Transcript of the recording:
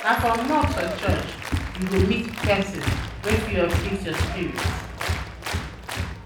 Na for mosque or church, you go meet um people wey go uplift um your spirit.